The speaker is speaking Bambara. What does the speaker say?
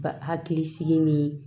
Ba hakili sigi ni